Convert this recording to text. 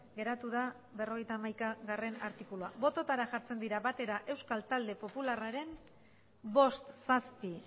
geratu da berrogeita hamaikagarrena artikulua bototara jartzen dira batera euskal talde popularraren bost zazpi